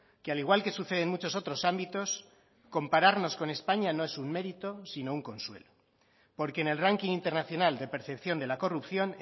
que al igual que sucede en muchos otros ámbitos compararnos con españa no es un mérito sino un consuelo porque en el ranking internacional de percepción de la corrupción